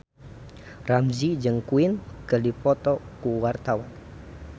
Ramzy jeung Queen keur dipoto ku wartawan